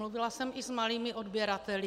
Mluvila jsem i s malými odběrateli.